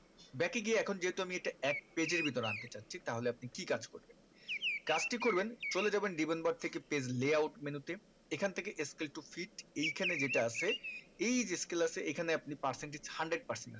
back এ গিয়ে এখন যেহেতু আমি এটা এক page এর ভিতরে আন্তে চাচ্ছি তাহলে আপনি কি কাজ করবেন কাজটি করবেন চলে যাবেন ribbon bar থেকে page layout menu তে এখন থেকে scale to fit এই খানে যেটা আছে এই scale আছে এখানে আপনি percentage hundred percent